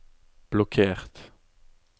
blokkert